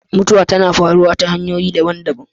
Mutuwa tana faruwa ta hanyoyi daban-daban.